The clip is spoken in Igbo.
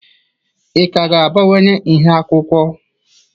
Ị ka ga-abawanye nha akwụkwọ?